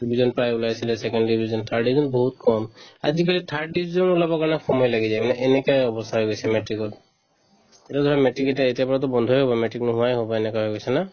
result প্ৰায় ওলাইছিলে second division, third division একদম বহুত কম আজিকালি third division ও ওলাবৰ কাৰণে সময় লাগি যায় মানে এনেকুৱা অৱস্থা হৈ গৈছে matrix ত এইটো জানা matrix এতিয়া এতিয়াৰ পৰাতো বন্ধয়ে হ'ব matrix নোহোৱায়ে হ'ব এনেকুৱা হৈ গৈছে না